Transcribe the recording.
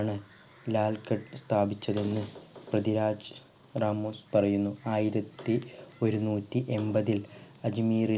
ആണ് ലാൽ ഘട്ട് സ്ഥാപിച്ചത് എന്ന് പ്രഥ്വിരാജ് രാമുസ് പറയുന്നു ആയിരത്തി ഒരുനൂറ്റി എമ്പതിൽ അജ്മീറിലാണ്